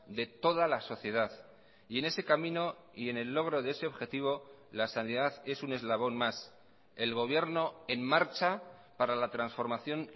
de toda la sociedad y en ese camino y en el logro de ese objetivo la sanidad es un eslabón más el gobierno en marcha para la transformación